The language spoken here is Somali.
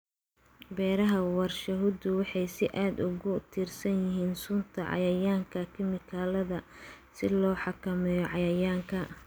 Beeraha warshaduhu waxay si aad ah ugu tiirsan yihiin sunta cayayaanka kiimikada si loo xakameeyo cayayaanka.